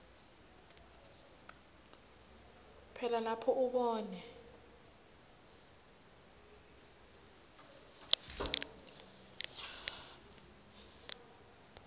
phela lapho ubona